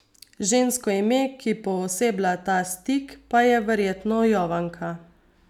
Žensko ime, ki pooseblja ta stik, pa je verjetno Jovanka.